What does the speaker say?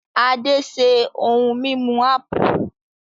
Ade ṣe ohun mímu ápù